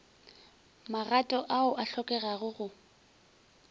magato ao a hlokegago go